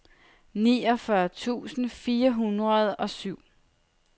niogfyrre tusind fire hundrede og syv